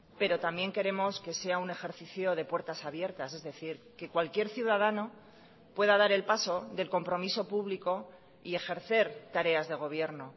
pero también queremos que sea un ejercicio de puertas abiertas es decir que cualquier ciudadano pueda dar el paso del compromiso público y ejercer tareas de gobierno